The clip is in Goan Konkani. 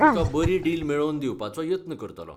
तुकां बरी डील मेळोवन दिवपाचो यत्न करतलों